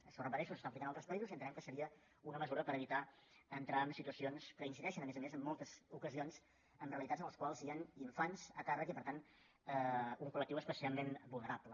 això ho repeteixo s’està aplicant a altres països i entenem que seria una mesura per evitar entrar en situacions que incideixen a més a més en moltes ocasions en realitats en les quals hi han infants a càrrec i per tant un colpecialment vulnerable